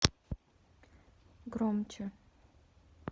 громче